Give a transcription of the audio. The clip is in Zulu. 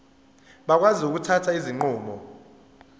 bakwazi ukuthatha izinqumo